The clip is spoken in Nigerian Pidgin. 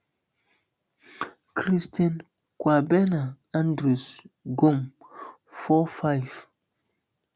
christian kwabena andrews gum four five